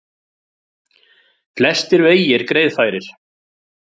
Flestir vegir greiðfærir